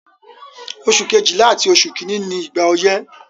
Oṣù Kejìlá àti oṣù kìíní ni ìgbà ọyẹ́.